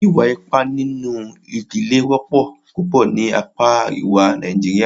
Ìwà ipá nínú ìdílé wọ́pọ̀ púpọ̀ ní apá àríwá Nàìjíríà.